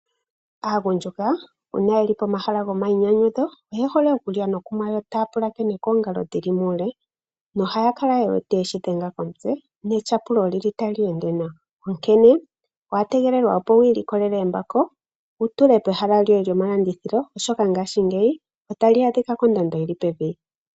Aagundjuka uuna yeli pomahala gomainyanyudho oye hole okulya nokunwa, yo taya pulakene koongalo dhili muule nohaya kala ye weteyeshi dhenga komutse netyapulo olili tali ende nawa. Onkene owa tegelelwa opo wi ilikolele embako wu tule pehala lyoye lyomalandithilo, oshoka ngaashingeyi otali adhika kondando yili pevi.